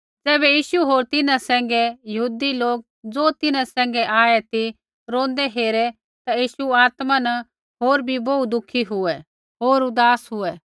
ज़ैबै यीशु होर तिन्हां सैंघै यहूदियै लोक ज़ो तिन्हां सैंघै आऐ ती रोंदै हेरे ता यीशु आत्मा न होर भी बोहू दुःखी हुऐ होर उदास हुऐ